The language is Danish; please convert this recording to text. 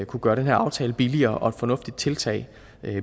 kunne gøre den her aftale billigere og et fornuftigt tiltag